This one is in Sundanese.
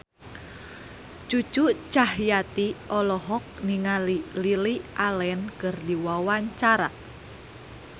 Cucu Cahyati olohok ningali Lily Allen keur diwawancara